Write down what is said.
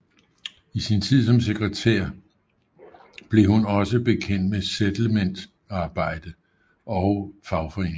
I sin tid som sekretær blev hun også bekendt med Settlementsarbejde og fagforeninger